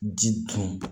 Ji dun